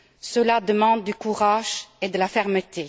Cela demande du courage et de la fermeté.